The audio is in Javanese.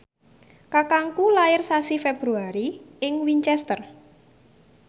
kakangku lair sasi Februari ing Winchester